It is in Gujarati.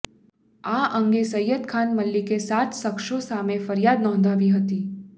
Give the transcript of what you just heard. આ અંગે સઈદખાન મલેકે સાત સખશો સામે ફરિયાદ નોંધાવી હતી